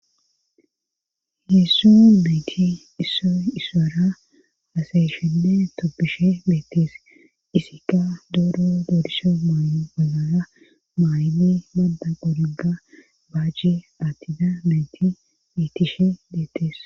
Heessu meeti issoy issoora hasayishinne toppishe beettees isikka doro doorisha maayo olora maayni madda qoregga baace attida meyti beettishe beettees.